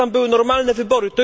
normalne wybory.